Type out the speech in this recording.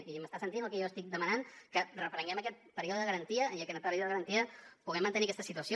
i m’està sentint el que jo estic demanant que reprenguem aquest període de garantia i que en aquest període de garantia puguem mantenir aquesta situació